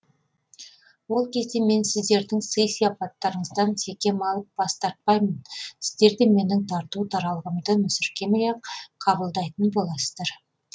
ол кезде мен сіздердің сый сыяпаттарыңыздан секем алып бас тартпаймын сіздер де менің тарту таралғымды мүсіркемей ақ қабылдайтын боласыздар